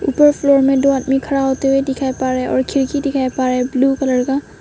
First floor में दो आदमी खड़ा होते हुए दिखाई पड़े और खिड़की दिखाएं पर रहे ब्लू कलर का।